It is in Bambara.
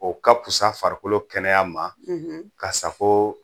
O ka fisa farikolo kɛnɛya ma ka sago